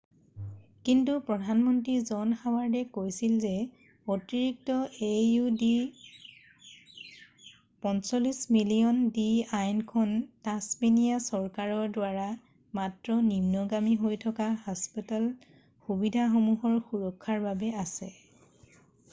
কিন্তু প্ৰধানমন্ত্ৰী জন হাৱাৰ্ডে কৈছিল যে অতিৰিক্ত aud$৪৫ মিলিয়ন দি আইন খন তাচমেনিয়া চৰকাৰৰ দ্বাৰা মাত্ৰ নিম্নগামী হৈ থকা হাস্পতাল সুবিধাসমূহৰ সুৰক্ষাৰ বাবে আছে।